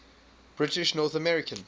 british north american